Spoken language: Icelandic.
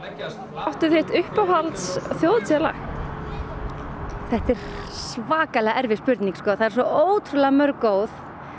áttu uppáhalds Þjóðhátíðarlag þetta er svakalega erfið spurning þau eru svo ótrúlega mörg góð